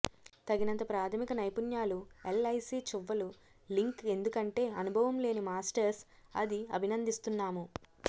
తగినంత ప్రాథమిక నైపుణ్యాలు ఎల్ఐసి చువ్వలు లింక్ ఎందుకంటే అనుభవం లేని మాస్టర్స్ అది అభినందిస్తున్నాము